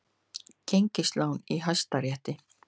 Gengislán í Hæstarétti